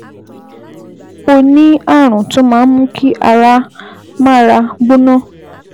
O ní ààrùn tó máa ń mú kí ara mára gbóná